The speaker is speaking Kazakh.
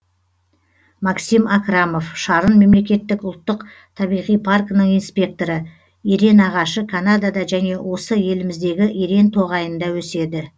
максим акрамов шарын мемлекеттік ұлттық табиғи паркінің инспекторы ерен ағашы канадада және осы еліміздегі ерен тоғайында өседі